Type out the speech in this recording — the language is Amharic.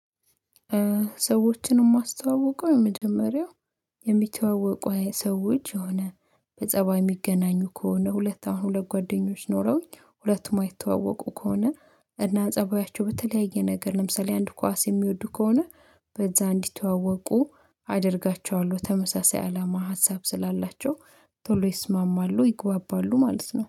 ሰዎችን ማስተዋውቀው የመጀመሪያው የሚተዋወቁ ሰዎች የሆነ በጸባይ የሚገናኙ ከሆነ ሁለት አሁን ሁለት ጓደኞች ኖረውኝ ሁለቱም ማይተዋወቁ ከሆነ እና ጸባያቸው በተለያየ ነገር ለምሳሌ አንድ ኳስ የሚወዱ ከሆነ በዛ እንዲተዋወቁ አደርጋቸዋለሁ ተመሳሳይ አላማ ሀሳብ ስላላቸው ቶሎ ይስማማሉ ይግባባሉ ማለት ነው